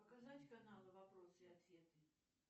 показать канал вопросы и ответы